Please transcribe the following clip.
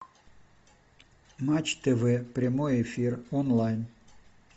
матч тв прямой эфир онлайн